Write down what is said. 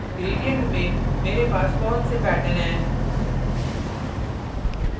gradients में मेरे पास बहुत से patterns हैं